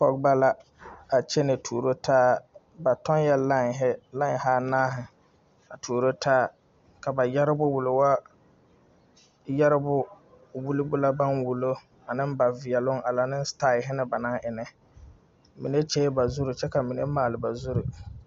Pɔgeba la, a kyɛnɛ tuuro taa, ba tɔg la 'line' hi anaare hi, a tuoro taa la ba yɛrebo, wulo wo, yɛrebo wullobo la, ka ba wulo, ane ba veɛloŋ a laŋ ne 'style' banaŋ e na, mine kyɛ la bazuri, kyɛ ka mine maale bazuri.